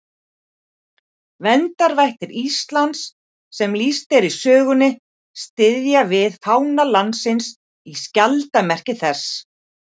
Verndarvættir Íslands sem lýst er í sögunni styðja við fána landsins í skjaldarmerki þess.